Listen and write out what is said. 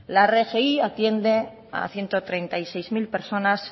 la rgi atiende a ciento treinta y seis mil personas